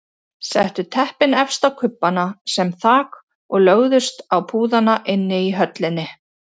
Settu teppin efst á kubbana sem þak og lögðust á púðana inni í höllinni.